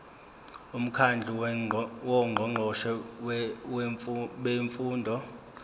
umkhandlu wongqongqoshe bemfundo